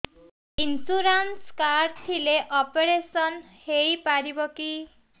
insurance card ଥିଲେ operation ହେଇପାରିବ କି